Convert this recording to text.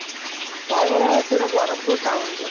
ତା ଘର ପୁରା ବ୍ରହ୍ମପୁର town ରେ